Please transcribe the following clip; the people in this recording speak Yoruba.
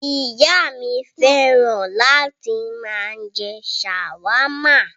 Ìyá mi fẹ́ràn láti máa jẹ ṣàwámà.